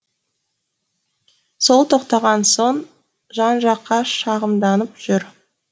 сол тоқтаған соң жан жаққа шағымданып жүр